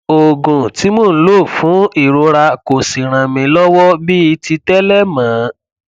oògùn tí mò ń lò fún ìrora kò sì ràn mí lọwọ bíi ti tẹlẹ mọ